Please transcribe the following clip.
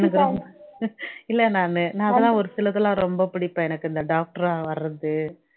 எனக்கு ரொம் இல்ல நானு நான் அதெல்லாம் ஒருசிலது எல்லாம் ரொம்ப பிடிப்பேன் எனக்கு இந்த doctor ஆ வர்றது